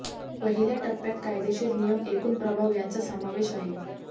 पहिल्या टप्प्यात कायदेशीर नियम एकूण प्रभाव यांचा समावेश आहे